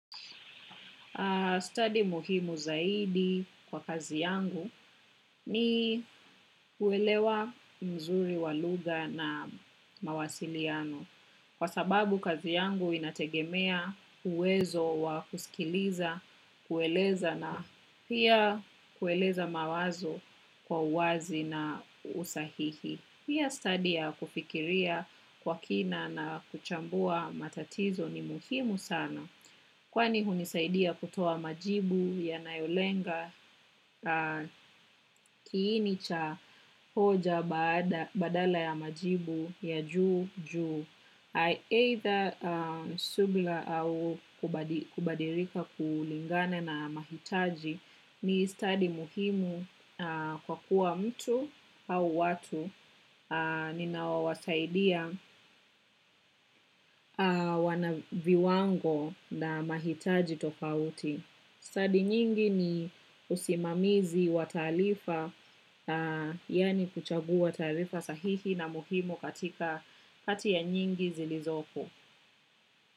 Study muhimu zaidi kwa kazi yangu ni uelewa mzuri wa lugha na mawasiliano. Kwa sababu kazi yangu inategemea uwezo wa kusikiliza, kueleza na pia kueleza mawazo kwa uwazi na usahihi. Pia, study ya kufikiria kwa kina na kuchambua matatizo ni muhimu sana kwani hunisaidia kutoa majibu yanayolenga kiini cha hoja badala ya majibu ya juu juu. Either subra au kubadilika kulingana na mahitaji ni study muhimu kwa kuwa mtu au watu ninaowasaidia wana viwango na mahitaji tofauti. Study nyingi ni usimamizi wa taarifa, yani kuchagua taarifa sahihi na muhimu katika kati ya nyingi zilizopo.